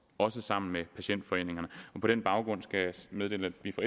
også sammen med patientforeningerne på den baggrund skal jeg meddele at vi fra